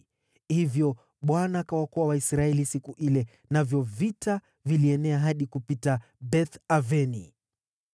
Hivyo Bwana akawaokoa Waisraeli siku ile, navyo vita vilienea hadi kupita Beth-Aveni.